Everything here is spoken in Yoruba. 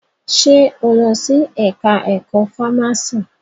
Ṣe o lọ sí ẹka ẹ̀kọ́ fámási?